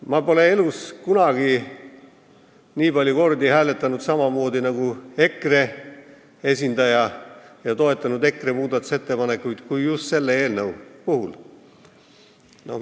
Ma pole elus kunagi nii palju kordi hääletanud samamoodi nagu EKRE esindaja ega toetanud EKRE muudatusettepanekuid nii palju, nagu ma tegin selle eelnõu arutelul.